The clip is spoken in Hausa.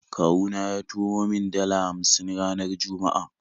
Kawuna ya turo min dala hamsin ranar Juma'a